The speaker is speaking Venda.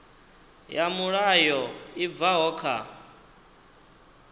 ya mulayo i bvaho kha